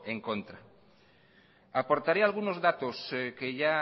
en contra aportaré algunos datos que ya